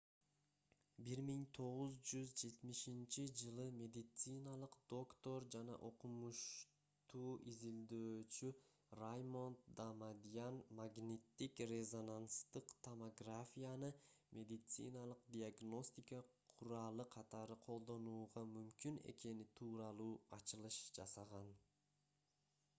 1970-жылы медициналык доктор жана окумушту изилдөөчү раймонд дамадьян магниттик-резонанстык томографияны медициналык диагностика куралы катары колдонууга мүмкүн экени тууралуу ачылыш жасаган